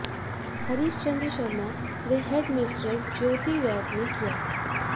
हरिश्चंद शर्मा व headmistress Jyoti Vaidya ने किया